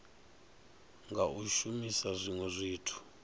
nga u shumisa zwinwe zwithu